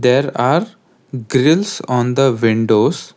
There are grills on the windows.